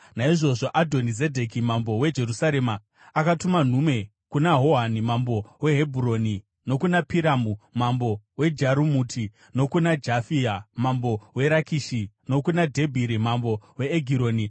Naizvozvo Adhoni-Zedheki mambo weJerusarema akatuma nhume kuna Hohani mambo weHebhuroni, nokuna Piramu mambo weJarumuti, nokuna Jafia mambo weRakishi nokuna Dhebhiri mambo weEgironi.